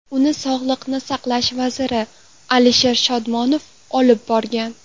Uni sog‘liqni saqlash vaziri Alisher Shodmonov olib borgan.